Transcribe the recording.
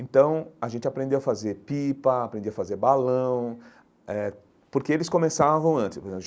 Então, a gente aprendeu a fazer pipa, aprendia a fazer balão eh, porque eles começavam antes.